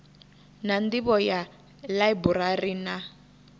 na nḓivho ya ḽaiburari na